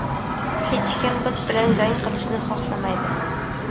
hech kim biz bilan jang qilishni xohlamaydi.